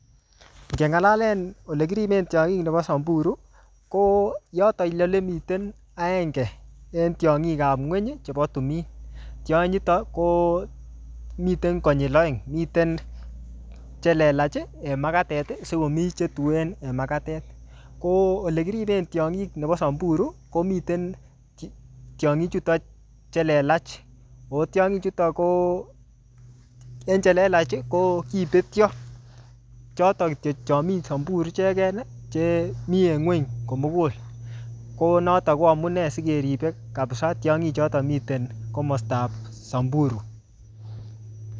Ngeng'alalen ole kiripen tiongik nebo Samburu, ko yoton ile ole miten agenge en tiongikap ng'uny chebo timin. Tionyitok, ko miten konyil aeng. Miten che lelach, en makatet, sikomii che tuen en makatet. Ko ole kiriben tiongik nebo Samburu, komiten ti-tiongik chuton che lelach. Ako tiongik chuton ko en che lelach, ko kibetyo. Choton kityo chomii Samburu icheken, che mii en ng'uny komugul. Ko notok ko amunee sikeribe kabisaa tiongik choton miten komastab Samburu